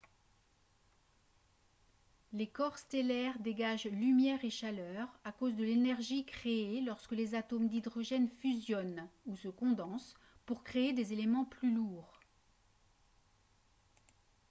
les corps stellaires dégagent lumière et chaleur à cause de l'énergie créée lorsque les atomes d'hydrogène fusionnent ou se condensent pour créer des éléments plus lourds